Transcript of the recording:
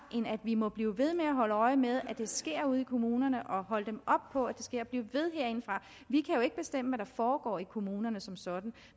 end at vi må blive ved med at holde øje med at det sker ude i kommunerne og holde dem op på at det sker blive ved herindefra vi kan jo ikke bestemme hvad der foregår i kommunerne som sådan